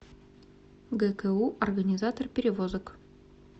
гку организатор перевозок